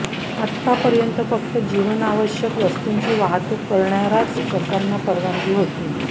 आतापर्यंत फक्त जीवनावश्यक वस्तूंची वाहतूक करणाऱ्याच ट्रकांना परवानगी होती